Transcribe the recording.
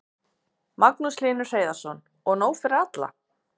Magnús Hlynur Hreiðarsson: Og nóg fyrir alla?